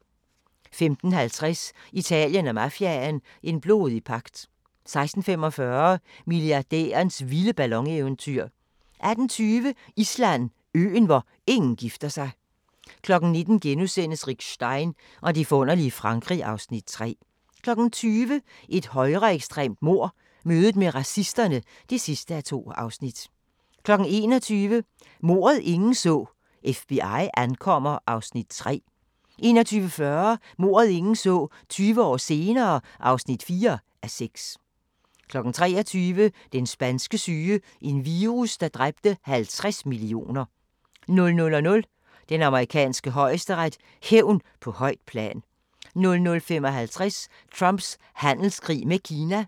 15:50: Italien og mafiaen – en blodig pagt 16:45: Milliardærens vilde ballon-eventyr 18:20: Island: Øen, hvor ingen gifter sig 19:00: Rick Stein og det forunderlige Frankrig (Afs. 3)* 20:00: Et højreekstremt mord – mødet med racisterne (2:2) 21:00: Mordet, ingen så: FBI ankommer (3:6) 21:40: Mordet, ingen så: 20 år senere (4:6) 23:00: Den spanske syge – en virus, der dræbte 50 millioner 00:00: Den amerikanske højesteret: Hævn på højt plan 00:55: Trumps handelskrig med Kina